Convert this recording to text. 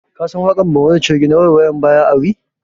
Ka san waƙar barmani coge na 'waiwaya baya ari'?